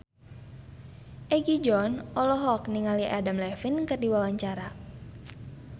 Egi John olohok ningali Adam Levine keur diwawancara